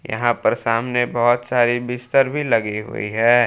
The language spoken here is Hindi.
यहां पर सामने बहुत सारी बिस्तर भी लगी हुई है।